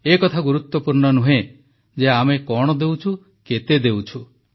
ଏ କଥା ଗୁରୁତ୍ୱପୂର୍ଣ୍ଣ ନୁହେଁ ଯେ ଆମେ କଣ ଦେଉଛୁ କେତେ ଦେଉଛୁ